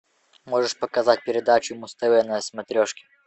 можешь показать передачу муз тв на смотрешке